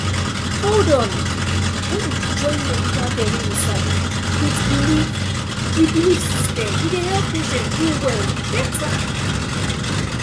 hold on when you join medical care wey you sabi with belief with belief system e dey help patient do well better